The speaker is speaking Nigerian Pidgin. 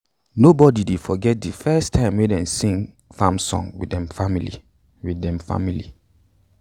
nobody dey forget de first time dey sing farm song with dem family with dem family